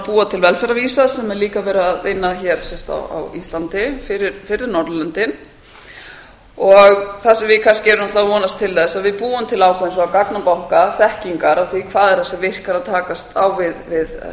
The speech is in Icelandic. búa til velferðarvísa sem er líka verið að vinna að hér á íslandi fyrir norðurlöndin það sem við kannski erum að vonast til þess að við búum til ákveðinn gagnabanka þekkingar á því hvað er það sem virkar að takast á við